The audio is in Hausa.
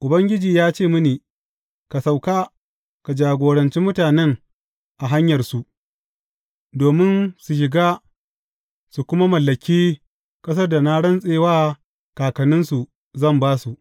Ubangiji ya ce mini, Ka sauka, ka jagoranci mutanen a hanyarsu, domin su shiga, su kuma mallaki ƙasar da na rantse wa kakanninsu, zan ba su.